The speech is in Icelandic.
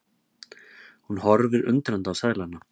Hún horfir undrandi á seðlana.